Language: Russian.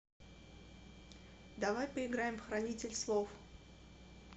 давай поиграем в хранитель слов